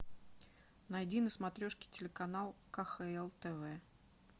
найди на смотрешке телеканал кхл тв